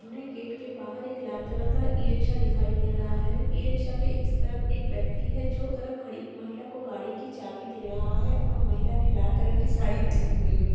हमे गेट के बाहर एक लाल कलर का इ-रिक्शा दिखाई दे रहा है इ-रिक्शा के इस तरफ एक व्यक्ति है जो उस तरफ खड़ी महिला को गाड़ी की चाभी दे रहा है और महिला ने लाल कलर की साड़ी पहनी हुई है।